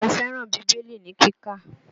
Mo fẹ́ràn Bíbélì ní kíkà